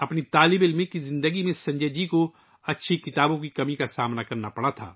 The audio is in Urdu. طالب علمی کی زندگی میں سنجے جی کو اچھی کتابوں کی کمی کا سامنا کرنا پڑا